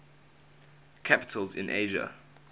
capitals in asia